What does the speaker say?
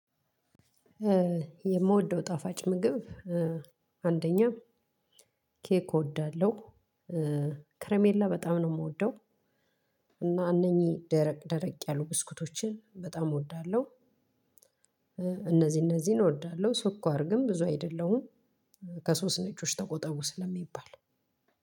የምወደው ጣፋጭ ምግብ አንደኛ ኬክ እወዳለሁ ከረሜላ በጣም ነው የምወደው። እና እነኚህ ደረቅ ደረቅ ያሉ ብስኩቶችን በጣም እወዳለሁ። እነዚህ እነዚህን እወዳለሁ። ስኳር ግን ብዙ አይደለሁም። ምክንያቱም ከሶስት ነጮች ተቆጣጡ ስለሚባል።